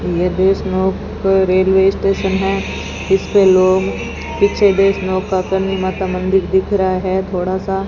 ये वैष्णो का railway station है इस पे लोग पीछे वैष्णो का करणी माता मंदिर दिख रहा है थोड़ा सा --